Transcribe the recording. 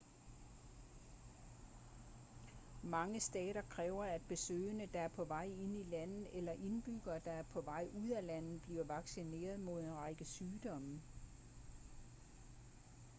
mange stater kræver at besøgende der er på vej ind i landet eller indbyggere der er på vej ud af landet bliver vaccineret mod en række sygdomme